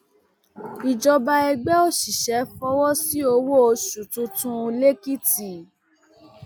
ìjọba ẹgbẹ òṣìṣẹ fọwọ sí owó oṣù tuntun lẹkìtì